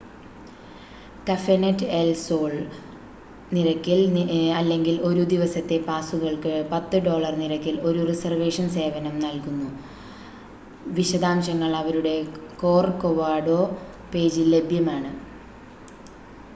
Cafenet El Sol us$30 നിരക്കിൽ അല്ലെങ്കിൽ ഒരു ദിവസത്തെ പാസുകൾക്ക് $10 നിരക്കിൽ ഒരു റിസർവേഷൻ സേവനം നൽകുന്നു; വിശദാംശങ്ങൾ അവരുടെ കോർ‌കോവാഡോ പേജിൽ ലഭ്യമാണ്‌